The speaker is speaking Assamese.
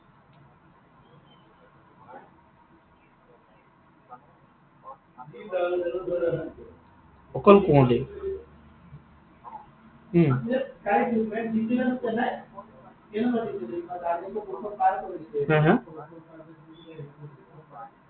অকল কুঁৱলী? উম হে, হে?